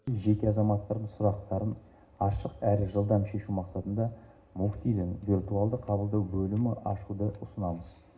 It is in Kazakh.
жеке азаматтардың сұрақтарын ашық әрі жылдам шешу мақсатында мүфтидің виртуалды қабылдау бөлімі ашуды ұсынамыз